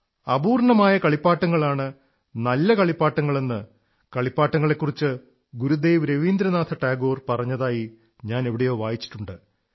അപൂർണ്ണമായ കളിപ്പാട്ടങ്ങളാണ് നല്ല കളിപ്പാട്ടങ്ങളെന്ന് കളിപ്പാട്ടങ്ങളെക്കുറിച്ച് ഗുരുദേവ് രവീന്ദ്രനാഥ ടാഗോർ പറഞ്ഞതായി ഞാൻ എവിടെയോ വായിച്ചിട്ടുണ്ട്